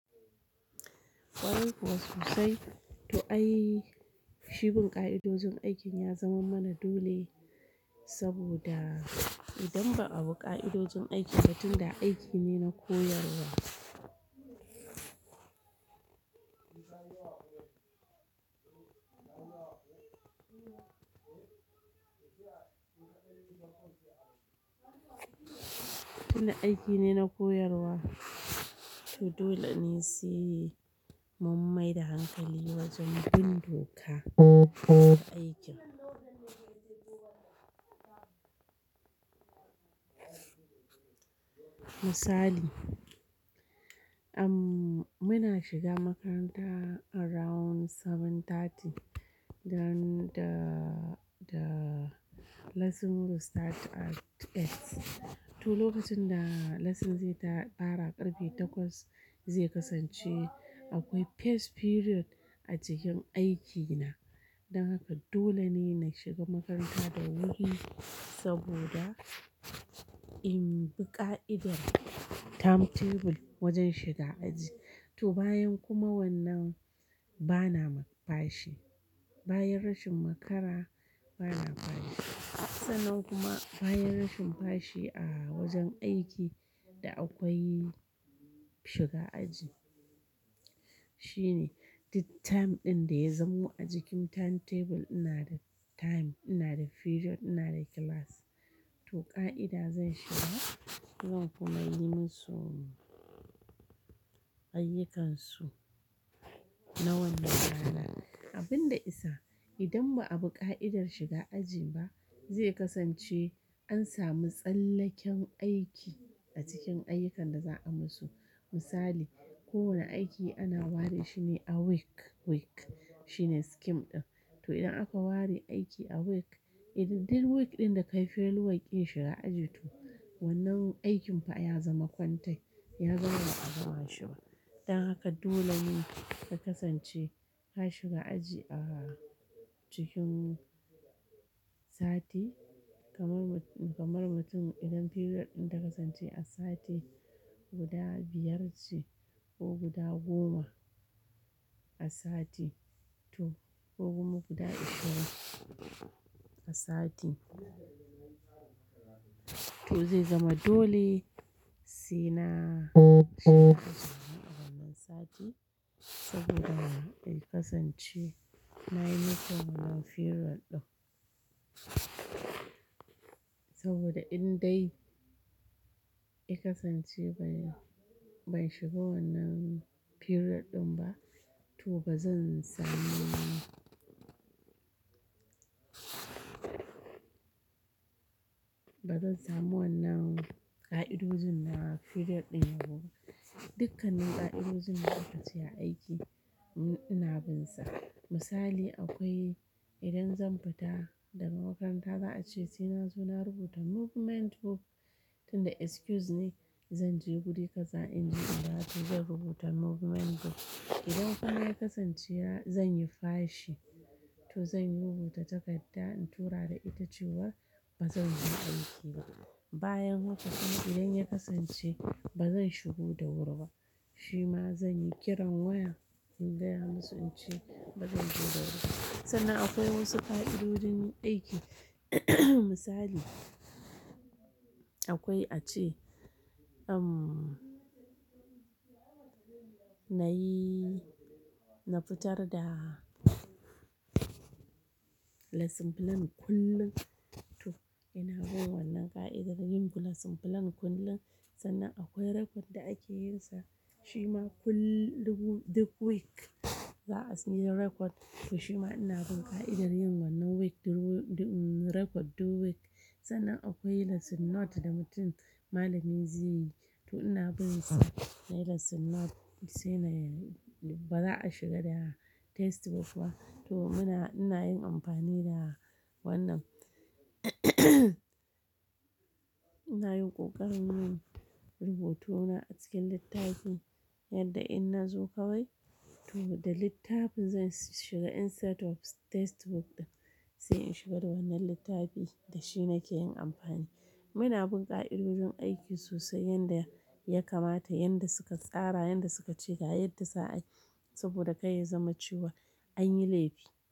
Kwarai kuwa sosai. To ai, shi bin ƙa'idojin aikin ya zaman mana dole, saboda idan ba a bi ƙa'idojin aikin ba tunda aiki ne na koyarwa. Tunda aiki ne na koyarwa, to dole ne se mun mai da hankali wajen bin doka a aikin. Misali, muna shiga makaranta around bakwai da rabi, don da, da lessons will start at ƙarfe takwas. To lokacin da lessons zai ta fara ƙarfe takwas zai kasance akwai first period a cikin aikina. Don haka dole ne na shiga makaranta da wuri saboda in bi ƙa'idar timetable wajen shiga aji. To bayan kuma wannan bana fashi. Bayan rashin makara bana fashi. Sannan kuma bayan rashin fashi a wajen aiki da akwai shiga aji. Shine dut time ɗin da ya zamo a jikin timetable ina da time, ina da period, ina da class. To ƙa'ida zan shiga, zan kuma yi musu ayyukansu na wannan rana. Abin da isa, idan ba a bi ƙa'idar shiga aji ba, zai kasance an sami tsallaken aiki a cikin ayyukan da za a musu. Misali, kowane aiki ana ware shi ne a week, week shine scheme ɗin. To idan aka ware aiki a week, idan duk week ɗin da ka yi failure war ƙin shiga aji, to wannan aikin fa ya zama kwantai, ya zama ba a zama shi ba. Don haka dole ne ka kasance ka shiga aji a cikin sati kamar, kamar mutum idan period ɗin ta kasance a sati guda biyar ce ko guda goma a sati ko kuma guda ashirin a sati. To zai zama dole sena shiga a wannan sati saboda in kasance na yi musu wannan period ɗin. Saboda in dai I kasance ban, ban shiga wannan period ɗin ba, to bazan samu, bazan samu wannan ƙa'idojin na period ɗin ba to dukkanin ƙa'idojin da aka ce a aiki ina bin sa. Misali akwai idan zan fita daga makaranta za a ce sena zo na rubuta movement book, tunda excuse ne zan je guri kaza in je in dawo to zan rubuta movement book. Idan kuma ya kasance zan yi fashi to zan rubuta takadda in tura da ita cewa bazan zo aiki ba. Bayan haka kuma idan ya kasance bazan shigo da wuri ba, shi ma zan yi kiran waya in gaya musu in ce bazan zo da wuri ba. Sannan akwai wasu ƙa'idodin aiki misali, akwai a ce, umm, na yi, na fitar da lesson plan kullum. To ina bin wannan ƙa'idar yin lesson plan kullum, sannan akwai record da ake yin sa shi ma kullum duk week za a sanya record. To shi ma ina bin ƙa'idar yin wannan week record du week. Sannan akwai lesson note da mutum malami zai yi. To ina bin sa nayi lesson note sai na, ba za a shiga da textbook ba. To muna, ina yin amfani da wannan ina yin ƙoƙarin yin rubutu na a cikin littafin yadda in na zo kawai to da littafin zan shiga insteated of textbook ɗin sai in shiga da wannan littafi da shi nake yin amfani. Muna bin ƙa'idodin aiki sosai yanda ya kamata, yanda suka tsara, yanda suka ce, ga yadda za a yi saboda kai ya zama cewa an yi laifi.